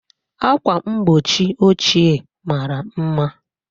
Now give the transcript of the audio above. Akwa mgbochi ochie mara mma.